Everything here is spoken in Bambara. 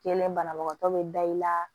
Kɛnɛ banabagatɔ bɛ da i la